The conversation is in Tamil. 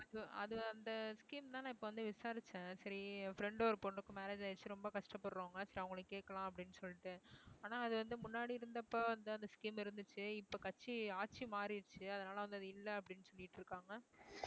அது அந்த scheme தான் நான் இப்ப வந்து விசாரிச்சேன் சரி என் friend ஒரு பொண்ணுக்கு marriage ஆயிருச்சு ரொம்ப கஷ்டப்படுறவங்க சரி அவங்களை கேட்கலாம் அப்படின்னு சொல்லிட்டு ஆனா அது வந்து முன்னாடி இருந்தப்ப அந்த scheme இருந்துச்சு இப்ப கட்சி ஆட்சி மாறிருச்சு அதனால வந்து அது இல்ல அப்படின்னு சொல்லிட்டு இருக்காங்க